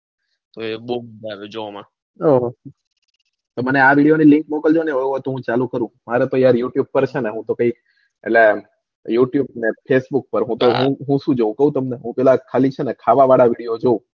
બૌ મજા આવે જોવામાં મને આ video ની link મોકલજો ને હું હવે થોડું ચાલુ કરું હું મારે પછી યર youtube પર છે ને ભાઈ youtube પર ન facebook માં હું સુ જોઉં કૌ તમને હું ખાલી ખાવા વાળા video જોઉં.